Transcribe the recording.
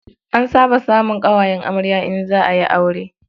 An saba samun ƙawayen amarya in za a yi aure.